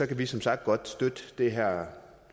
kan vi som sagt godt støtte det her